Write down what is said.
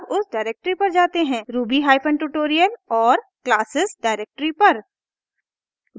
ruby hyphen tutorial और classes directory पर